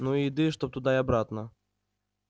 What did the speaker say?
ну и еды чтоб туда и обратно